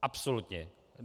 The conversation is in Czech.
Absolutně.